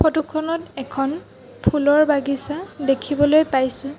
Photo খনত এখন ফুলৰ বাগিছা দেখিবলৈ পাইছোঁ।